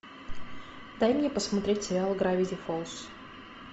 дай мне посмотреть сериал гравити фолз